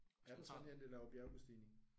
Ja. Er du sådan en der laver bjergbestigning?